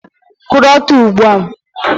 Kwụrụ ọtọ ugbu a!